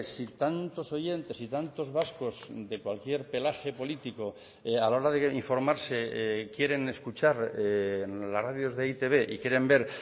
si tantos oyentes y tantos vascos de cualquier pelaje político a la hora de informarse quieren escuchar las radios de e i te be y quieren ver